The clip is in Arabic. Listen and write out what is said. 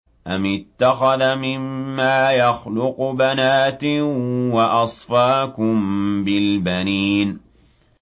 أَمِ اتَّخَذَ مِمَّا يَخْلُقُ بَنَاتٍ وَأَصْفَاكُم بِالْبَنِينَ